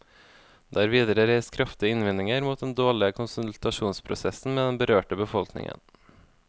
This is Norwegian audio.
Det er videre reist kraftige innvendinger mot den dårlige konsultasjonsprosessen med den berørte befolkningen.